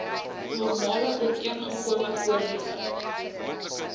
normale ooreengekome voordele